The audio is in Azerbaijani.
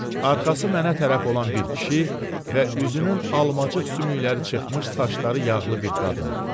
Arxası mənə tərəf olan bir kişi və üzünün almacıq sümükləri çıxmış, saçları yağlı bir qadın.